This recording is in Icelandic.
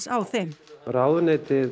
á þeim ráðuneytið